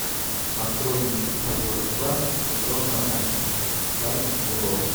открой мне эпизод два сезона один тайны и ложь